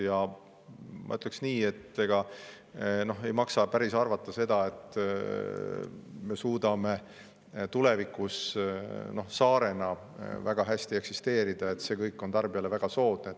Ja ma ütleksin nii, et ega ei maksa päris arvata, et me suudame tulevikus saarena väga hästi eksisteerida, et see kõik on tarbijale väga soodne.